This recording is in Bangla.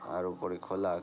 আর উপরে খোলা --।